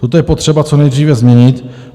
Toto je potřeba co nejdříve změnit.